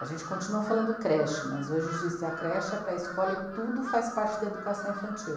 A gente continua falando creche, mas hoje existe a creche, e a pré escola e tudo faz parte da educação infantil.